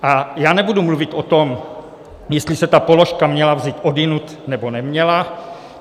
A já nebudu mluvit o tom, jestli se ta položka měla vzít odjinud, nebo neměla.